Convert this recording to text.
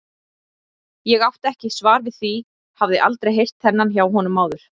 Ég átti ekki svar við því, hafði aldrei heyrt þennan hjá honum áður.